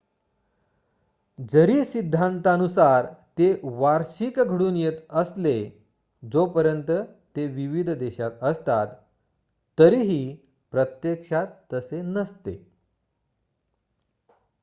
जरी सिंद्धांतानुसारा ते वार्षिक घडून येत असले जोपर्यंत ते विविध देशात असतात तरीही प्रत्यक्षात तसे नसते